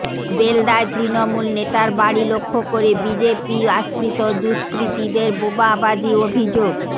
বেলদায় তৃণমূল নেতার বাড়ি লক্ষ্য করে বিজেপি আশ্রিত দুষ্কৃতীদের বোমাবাজি অভিযোগ